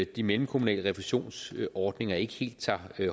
de mellemkommunale refusionsordninger ikke helt tager